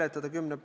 Aitäh!